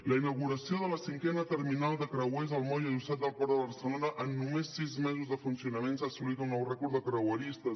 la inauguració de la cinquena terminal de creuers al moll adossat del port de barcelona amb només sis mesos de funcionament s’ha assolit un nou rècord de creueristes